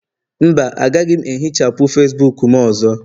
mba, agaghị m ehichapụ Facibuku m ọzọ